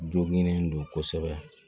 Joginnen don kosɛbɛ